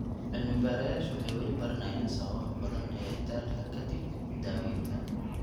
Cilmi-baadhayaashu waxay weli baranayaan sababaha badan ee daalka ka dib daaweynta.